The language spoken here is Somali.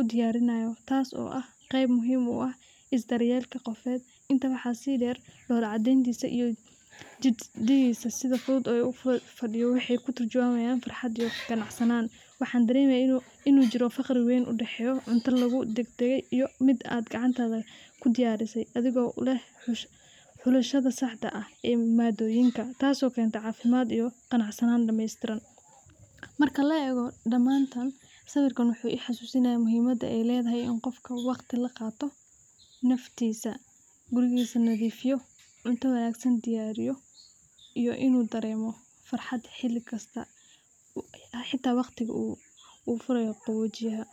udiyarinayo taso naftisa u ah qeeb muhiim u ah daryelka qofeed, tasi waxaa si deer dola cadentisa waxee ku turjiwamayin farxaad iyo qanacsanan, waxan daremaya in u jiro faqri weyn oo u dag dage iyo miid gacanta lagu diyarise athigo u leh fulishaada saxda eh oo cunoyinka tas oo kenta cafimaad iyo qanacsanan damestiran, marka laego damanta wuxuu I xasusinaya muhiimaada waqti laqato naftisa dulmi laqato cunta wanagsan diyariyo iyo in u daremo farxaad hata waqtiga u furayo qawojiyaha.